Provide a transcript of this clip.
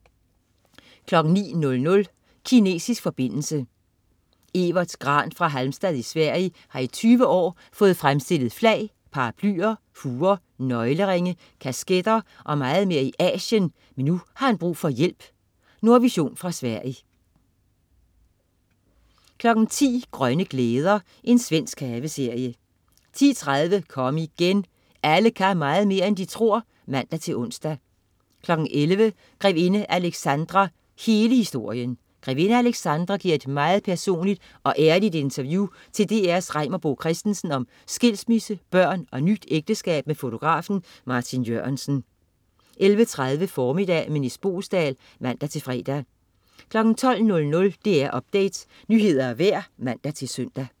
09.00 Kinesisk forbindelse. Evert Grahn fra Halmstad i Sverige har i 20 år fået fremstillet flag, paraplyer, huer, nøgleringe, kasketter og meget mere i Asien, men nu har han brug for hjælp. Nordvision fra Sverige 10.00 Grønne glæder. Svensk haveserie 10.30 Kom igen. Alle kan meget mere end de tror (man-ons) 11.00 Grevinde Alexandra, hele historien. Grevinde Alexandra giver et meget personligt og ærligt interview til DR's Reimer Bo Christensen om skilsmisse, børn og nyt ægteskab med fotografen Martin Jørgensen 11.30 Formiddag med Nis Boesdal (man-fre) 12.00 DR Update. Nyheder og vejr (man-søn)